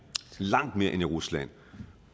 langt mere end i rusland